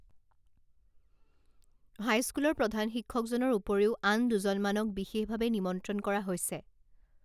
হাইস্কুলৰ প্ৰধান শিক্ষকজনৰ উপৰিও আন দুজনমানক বিশেষভাৱে নিমন্ত্ৰণ কৰা হৈছে